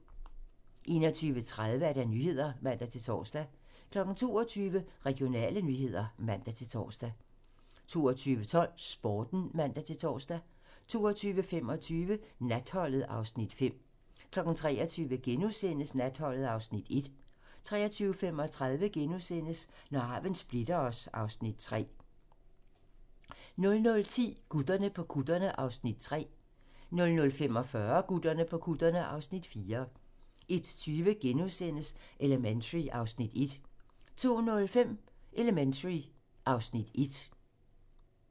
21:30: Nyhederne (man-tor) 22:00: Regionale nyheder (man-tor) 22:12: Sporten (man-tor) 22:25: Natholdet (Afs. 5) 23:00: Natholdet (Afs. 1)* 23:35: Når arven splitter os (Afs. 3)* 00:10: Gutterne på kutterne (Afs. 3)(man) 00:45: Gutterne på kutterne (Afs. 4)(man) 01:20: Elementary (Afs. 21)* 02:05: Elementary (Afs. 1)